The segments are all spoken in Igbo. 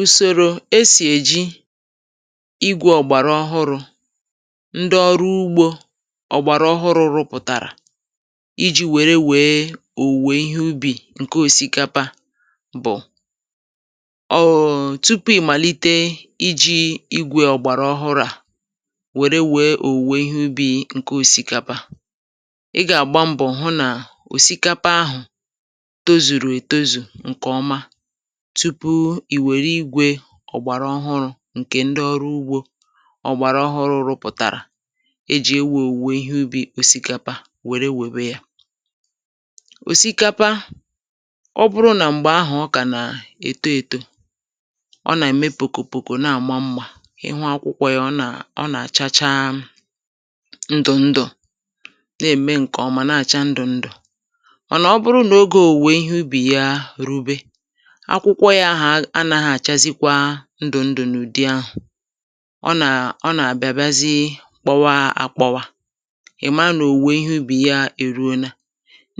ùsòrò esì èji igwè ọ̀gbàrà ọhụrụ̇ ndị ọrụ ugbȯ, ọ̀gbàrà ọhụrụ̇ rụpụ̀tàrà iji̇ wère wèe òwùwè ihe ubì ǹke òsikapa bụ̀: ọ̀ụ̀ụ̀ tupu ị màlite iji̇ igwè ọ̀gbàrà ọhụrụ̇ à, wère wèe òwùwè ihe ubì ǹke òsikapa, ị gà-àgba mbọ̀ hụ nà òsikapa ahụ̀ tozùrù ètozù ǹkè ọma, tupu ì wère igwė ọ̀gbàrà ọhụrụ̇ ǹkè ndị ọrụ ugbȯ ọ̀gbàrà ọhụrụ̇ rụpụ̀tàrà e jì e wèe òwùwè ihe ubì òsikapa wère wèbe yȧ. òsikapa, ọ bụrụ nà m̀gbè ahụ̀ ọ kà nà-èto ètò, ọ nà-ème pòkò pòkò, na-àma nmȧ, ị hụ akwụkwọ yȧ, ọ nà, ọ nà-àchacha ndụ̀ ndụ̀, na-ème ǹkè ọ̀mà na-àcha ndụ̀ ndụ̀. Mà nà ọ bụrụ nà ogė òwùwè ihe ubì ya rube, akwụkwọ ya ahụ̀ anaghị àchazikwa ndụ̀ ndụ̀ n’ụ̀dị ahụ̀, ọ nà, ọ nà-àbịa, bịazị kpọwa àkpọwà, ị̀ma nà òwùwè ihe ubì ya èruo na.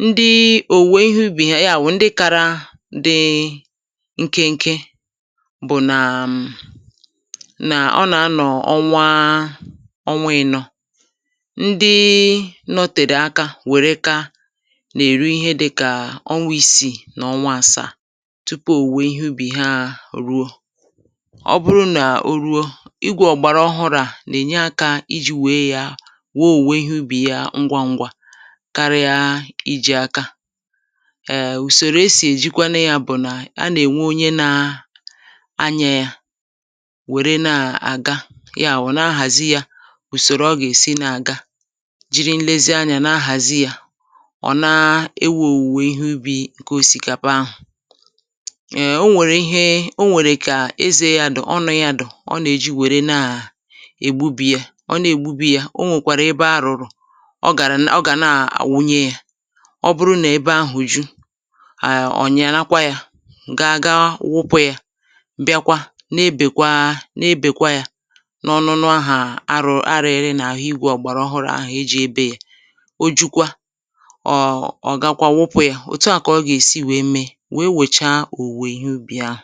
Ndị òwùwè ihe ubì ya, ya wù ndị kara dị nkịnkị bù nàà um nà ọ nà-anọ̀ ọnwa a, ọnwa ị̀nọ̀. Ndị nọtèrè aka wère kàa, nà-èru ihe dịkà ọnwa isi nà ọnwa àsàa tupu òwùwè ìhe ubì ha hà e ruo. ọ bụrụ n’ò ruo, igwė ọ̀gbàrà ọhụrụ à nà-ènye akȧ iji̇ wèe ya wò òwùwè ihe ubì ya ngwa ngwa karịa iji̇ aka. Ee ùsòrò e sì èjikwanụ ya bụ̀ nà, a nà-ènwe onye na aya ya, wère na-àga, ya bụ̀ na-ahàzi ya ùsòrò ọ gà-èsi na-àga. Jiri nlezianya na-ahàzi ya, ọ̀ na-ewu owùwè ihe ubi̇ ǹkè osikapa ahụ̀.[um]o nwèrè ihe, o nwèrè kà eze ya di, ọnu ya di, ọ nà-èji wère na à ègbubì ya. ọ na-ègbubì ya, o nwèkwàrà ebe arụ̀rụ̀, ọ gà ra, ọ gà na-àwunye ya. ọ bụrụ nà ebe ahụ̀ ju̇, àà ọ̀ nyàlakwa ya, gaa gaawupu ya, bịakwa na-ebèkwa, na-ebèkwa ya, n’ọnụnụ ahụ̀ arụ̀ arìri nà àhụ igwè ọ̀gbàrà ọhụrụ ahụ̀ eji ebe ya. O jukwa, ọ ọ gakwa wupu ya. òtu à kà ọ gà-èsi wee mee, wee wechaa òwùwè ìhe ubì ahụ.